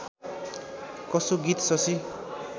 कसो गीत शशि